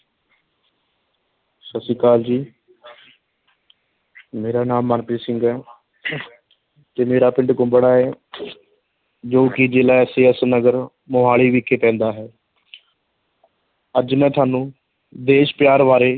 ਸਤਿ ਸ੍ਰੀ ਅਕਾਲ ਜੀ ਮੇਰਾ ਨਾਮ ਮਨਪ੍ਰੀਤ ਸਿੰਘ ਹੈ ਅਤੇ ਮੇਰਾ ਪਿੰਡ ਕੁੰਬੜਾ ਹੈ ਜੋ ਕਿ ਜਿਲ੍ਹਾ SAS ਨਗਰ ਮੁਹਾਲੀ ਵਿਖੇ ਪੈਂਦਾ ਹੈ ਅੱਜ ਮੈਂ ਤੁਹਾਨੂੰ ਦੇਸ਼ ਪਿਆਰ ਬਾਰੇ,